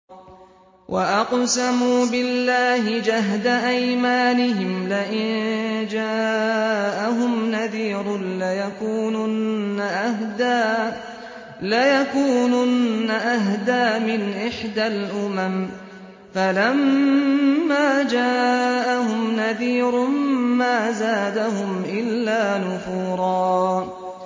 وَأَقْسَمُوا بِاللَّهِ جَهْدَ أَيْمَانِهِمْ لَئِن جَاءَهُمْ نَذِيرٌ لَّيَكُونُنَّ أَهْدَىٰ مِنْ إِحْدَى الْأُمَمِ ۖ فَلَمَّا جَاءَهُمْ نَذِيرٌ مَّا زَادَهُمْ إِلَّا نُفُورًا